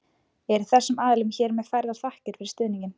Eru þessum aðilum hér með færðar þakkir fyrir stuðninginn.